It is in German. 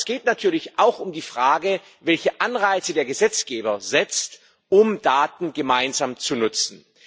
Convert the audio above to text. Aber es geht natürlich auch um die Frage, welche Anreize der Gesetzgeber setzt, um Daten gemeinsam zu nutzen.